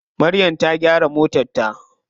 Maryam ta gyara motar ta.